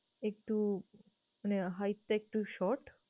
একটু মানে hight টা একটু short ।